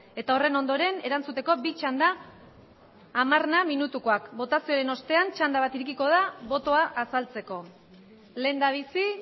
eta horren ondoren erantzuteko bi txanda hamar minutukoak botazioaren ostean txanda bat irekiko da botoa azaltzeko lehendabizi